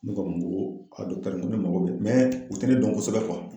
Ne ko a ma n koo ŋo ne mago be o tɛ ne dɔn kosɛbɛ